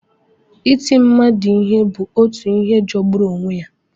Iti mmadụ ihe bụ otu ihe jọgburu onwe ya.